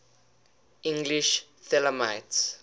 english thelemites